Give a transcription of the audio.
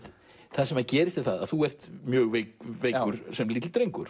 það sem gerist er að þú ert mjög veikur lítill drengur